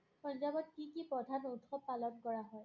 পঞ্জাৱত কি কি প্ৰধান উৎসৱ পালন কৰা হয়?